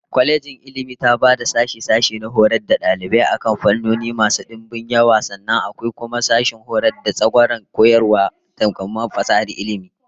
Kwalejin Ilmi taba da sashe-sashe na horar da dalibai akan fannoni masu dimbin yawa, sannan akwai kuma sashen horar da tsagwaron kwarewar koyarwa da kuma falsafar ilmi